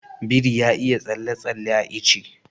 Biri ya iya tsalle-tsalle a ice.